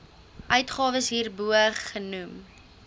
uitgawes hierbo genoem